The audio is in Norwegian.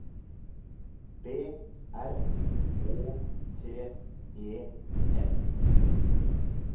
B R Å T E N